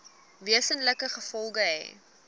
wesenlike gevolge hê